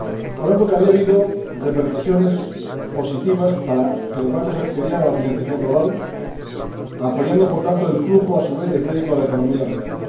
Por tanto, había habido repercusiones positivas para que los bancos accedieran a la financiación global, apoyando, por tanto, el flujo a su vez, de crédito a la economía real.